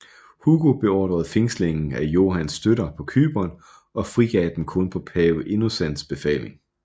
Hugo beordrede fængslingen af Johans støtter på Cypern og frigav dem kun på pave Innocens befaling